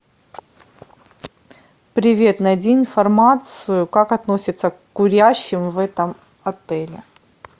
привет найди информацию как относятся к курящим в этом отеле